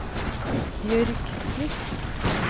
Bjørg Smith